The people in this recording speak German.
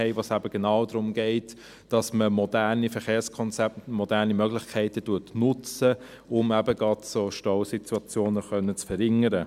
Dabei ging es eben genau darum, dass man moderne Verkehrskonzepte, moderne Möglichkeiten nutzt, um gerade solche Stausituationen verringern zu können.